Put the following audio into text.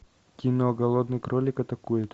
кино голодный кролик атакует